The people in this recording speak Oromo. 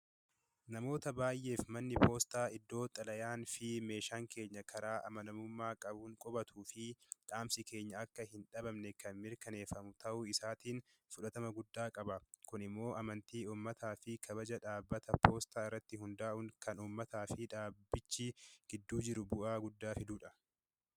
Namoota baay'eef manni poostaa iddoo xalayaa fi meeshaan keenya karaa amanamummaa qabuun qubatu fi dhaamsi keenya akka hin dhabamne kan mirkaneeffamu ta'uu isaatiin fudhatama guddaa qaba. Kun immoo amantii, uummataaf kabaja dhaabbata poostaa irratti hundaa'uun kan uummataaf dhaabbatichi gidduu jiru bu'aa guddaa fiduudha.